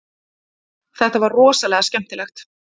Þetta var rosalega skemmtilegt